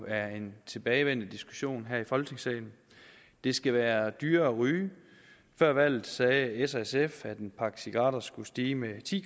er en tilbagevendende diskussion om her i folketingssalen det skal være dyrere at ryge før valget sagde s og sf at en pakke cigaretter skulle stige med ti